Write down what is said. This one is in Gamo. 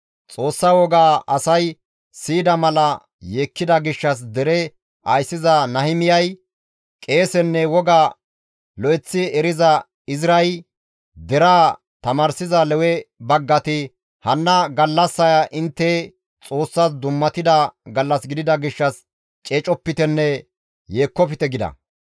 Xoossa wogaa asay siyida mala yeekkida gishshas dere ayssiza Nahimiyay, qeesenne woga lo7eththi eriza Izray, deraa tamaarsiza Lewe baggati «Hanna gallassaya intte Xoossas dummatida gallas gidida gishshas ceecopitenne yeekkofte» gida.